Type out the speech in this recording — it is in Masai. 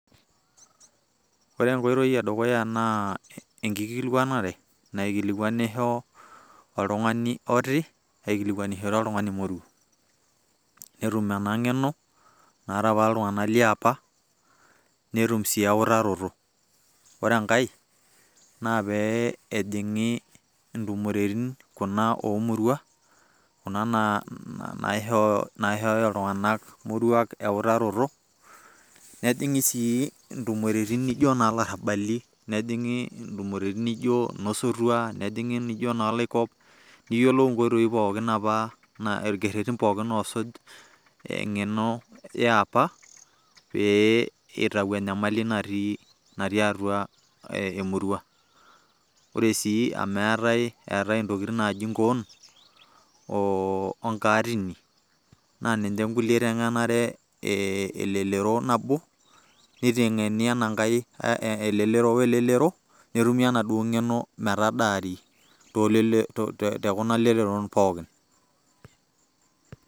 Ore enkoitoi edukuya naa enkikilikwanare naikilikwanisho oltung'ani otii, aikilikwanishore oltung'ani moruo. Netum ena ng'eno, naata apa iltung'anak liapa, netum si eutaroto. Ore enkae, na pe ehing'i intumoritin, kuna omurua, kuna naishooyo iltung'anak murua eutaroto. Nejing'i intumoritin nijo nolarrabali, nejing'i intumoritin nijo inosotua, nejing'i nijo nooloikop, niyiolou inkoitoi pookin naifaa, irkerrerrin pookin apa osuj eng'eno eapa pe itau enyamali natii atua emurua. Ore si amu etae intokiting' naji inkoon,o onkaatini, na ninche nkulie iteng'enare elelero nabo, niteng'eni ena nkae elelero we elelero, netumi enaduo ng'eno metadaari tekuna leleron pookin.